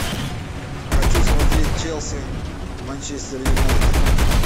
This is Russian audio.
хочу смотреть челси манчестер юнайтед